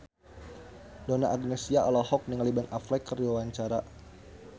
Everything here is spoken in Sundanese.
Donna Agnesia olohok ningali Ben Affleck keur diwawancara